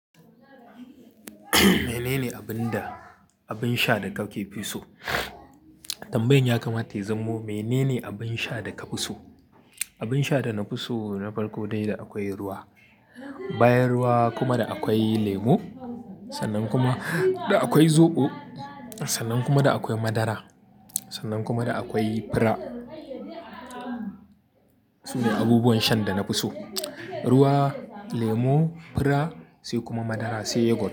Mene ne abin da, abin sha da ka ke fi so? Tambayin ya kamata ya zamo mene ne abin sha da ka fi so? Abin sha da na fi so na farko dai da akwai ruwa, bayan ruwa kuma da akwai lemo, sannan kuma da akwai zoɓo, sannan kuma da akwai madara, sannan kuma da akwai fira. Su ne abubuwan shan da na fi so. Ruwa, lemo, fira sai kuma madara sai yogut.